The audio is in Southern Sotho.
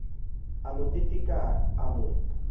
a mo teteka a mo